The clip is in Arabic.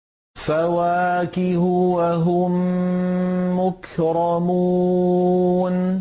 فَوَاكِهُ ۖ وَهُم مُّكْرَمُونَ